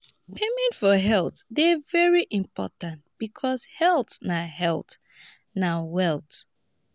payment for health de very important because health na health na wealth